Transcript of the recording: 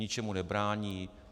Ničemu nebrání.